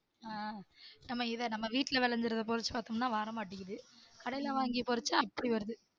ஆஹ் நம்ம இத நம்ம வீட்டுல வளந்து வர வச்சி பாத்தோம்ன வர மாட்டிக்குது கடைல வாங்கி பொரிச்சா அப்படி வருது